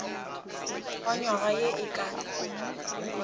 wa nywaga ye e ka